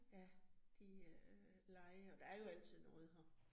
Ja, de øh leger. Der er jo altid noget her